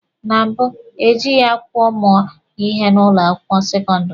Na mbụ, ejịghị akwụkwọ mụọ ihe n'ụlọ akwụkwọ sekọndịrị.